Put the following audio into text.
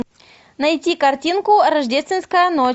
найти картинку рождественская ночь